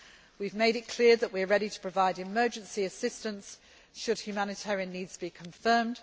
We have made it clear that we are ready to provide emergency assistance should humanitarian needs be confirmed.